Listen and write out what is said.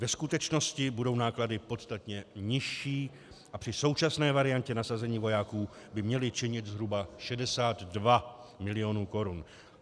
Ve skutečnosti budou náklady podstatně nižší a při současné variantě nasazení vojáků by měly činit zhruba 62 mil. korun.